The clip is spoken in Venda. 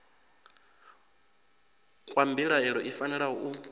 kwa mbilaelo i fanela u